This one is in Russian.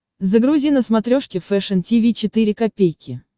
загрузи на смотрешке фэшн ти ви четыре ка